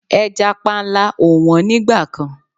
Ẹja panla ò wọ́n nígbà kan.